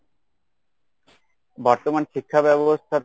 বর্তমান শিক্ষাব্যবস্থাতে